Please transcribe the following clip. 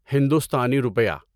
ہندوستانی روپیہ